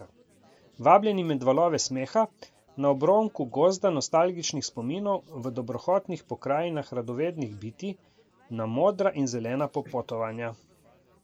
Vabljeni med valove smeha, na obronku gozda nostalgičnih spominov, v dobrohotnih pokrajinah radovednih bitij, na modra in zelena popotovanja.